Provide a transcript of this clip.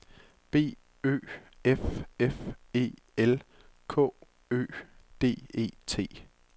B Ø F F E L K Ø D E T